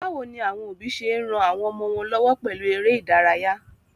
Báwoni àwon òbí se n ran àwon ọmọ wón lọ́wọ́ pèlu eré ìdárayá?